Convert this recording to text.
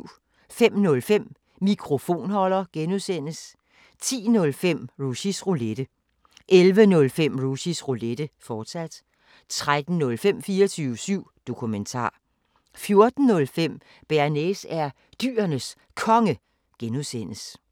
05:05: Mikrofonholder (G) 10:05: Rushys Roulette 11:05: Rushys Roulette, fortsat 13:05: 24syv Dokumentar 14:05: Bearnaise er Dyrenes Konge (G)